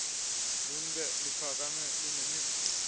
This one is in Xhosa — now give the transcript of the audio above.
lunbe luphakame kunemivuzo